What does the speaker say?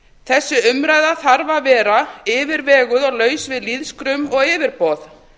þessi umræða þarf að vera yfirveguð og laus við lýðskrum og yfirboð